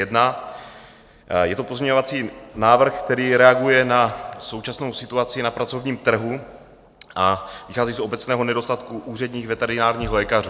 Je to pozměňovací návrh, který reaguje na současnou situaci na pracovním trhu a vychází z obecného nedostatku úředních veterinárních lékařů.